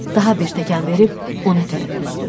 Daha bir təkən verib ona tərəf üzdüm.